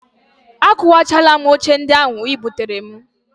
Akụkwachaala m oche ndị ahụ ị buteere m